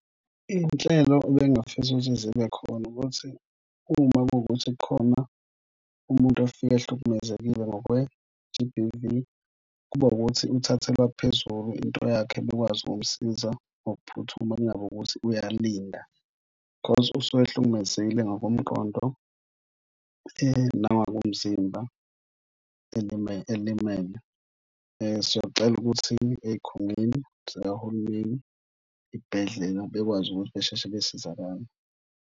Iy'nhlelo ebangifisa ukuthi zibe khona ukuthi uma kuwukuthi kukhona umuntu ofika ehlukumezekile ngokwe-G_B_V kube wukuthi uthathelwa phezulu into yakhe bekwazi ukumsiza ngokuphuthuma kungabi ukuthi uyalinda because usuke ehlukumezekile ngokomqondo nangokomzimba elimele, elimele. Siyocela ukuthi ezikhungweni zikahulumeni, ey'bhedlela bekwazi ukuthi basheshe basizakale.